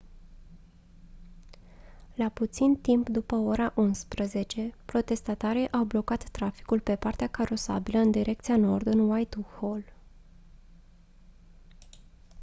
la puțin timp după ora 11:00 protestatarii au blocat traficul pe partea carosabilă în direcția nord în whitehall